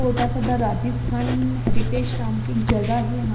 ओटासादा Rajasthan heritage नाम की एक जगह है यहाँ पे।